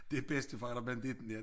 Det bedstefar eller banditten ja